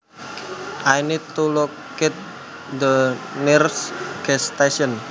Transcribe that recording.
I need to locate the nearest gas station